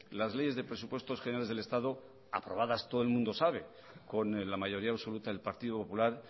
las leyes de presupuestos generales del estado aprobadas todo el mundo sabe con la mayoría absoluta del partido popular